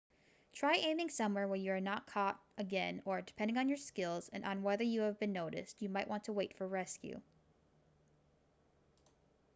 try aiming somewhere where you are not caught again or depending on your skills and on whether you have been noticed you might want to wait for rescue